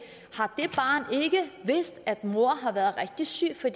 vidst at moren har været rigtig syg for